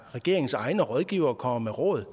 regeringens egne rådgivere kommer med råd